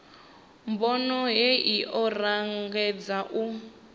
bono hei o angaredza u